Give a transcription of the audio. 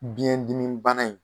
Biyɛn dimi bana in